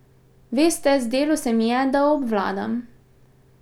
Veste, zdelo se mi je, da obvladam.